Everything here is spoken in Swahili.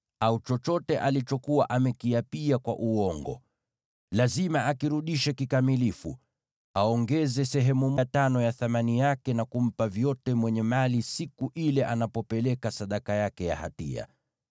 au chochote alichokuwa amekiapia kwa uongo. Lazima akirudishe kikamilifu, na aongeze sehemu ya tano ya thamani yake, vyote ampe mwenye mali siku ile anapeleka sadaka yake ya hatia.